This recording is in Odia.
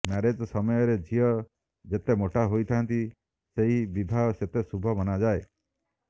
ମ୍ୟାରେଜ ସମୟରେ ଝିଅ ଯେତେ ମୋଟା ହୋଇଥାନ୍ତି ସେହି ବିବାହ ସେତେ ଶୁଭ ମନାଯାଏ